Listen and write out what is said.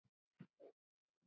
Ég verð að komast burt.